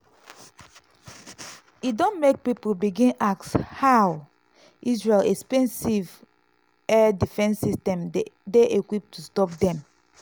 e don make pipo begin ask how israel expensive air defence system dey equipped to stop dem.